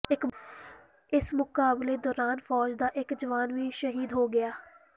ਇਸ ਮੁਕਾਬਲੇ ਦੌਰਾਨ ਫੌਜ ਦਾ ਇਕ ਜਵਾਨ ਵੀ ਸ਼ਹੀਦ ਹੋ ਗਿਆ